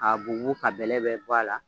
K'a bugubugu k'a bɛlɛ bɛɛ bɔ a la